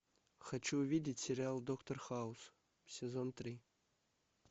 хочу увидеть сериал доктор хаус сезон три